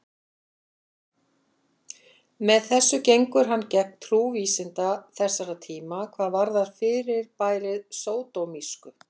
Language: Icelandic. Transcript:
Með þessu gengur hann gegn trú vísinda þessara tíma hvað varðar fyrirbærið sódómísku.